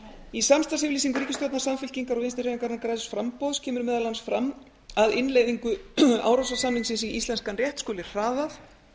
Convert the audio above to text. í samstarfsyfirlýsingu samfylkingar og vinstri hreyfingarinnar græns framboðs kemur meðal annars fram að innleiðingu árósasamningsins í íslenskan rétt skuli hraðað